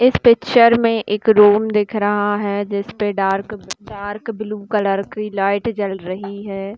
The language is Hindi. पिक्चर में एक रूम दिख रहा है जिसपे डार्क डार्क ब्लू कलर की लाइट जल रही है।